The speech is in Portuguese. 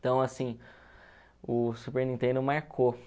Então, assim, o Super Nintendo marcou.